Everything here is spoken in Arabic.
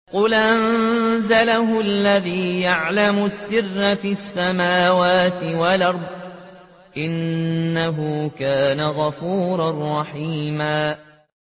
قُلْ أَنزَلَهُ الَّذِي يَعْلَمُ السِّرَّ فِي السَّمَاوَاتِ وَالْأَرْضِ ۚ إِنَّهُ كَانَ غَفُورًا رَّحِيمًا